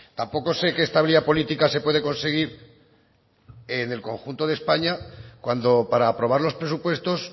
tampoco sé qué estabilidad política se puede conseguir en el conjunto de españa cuando para aprobar los presupuestos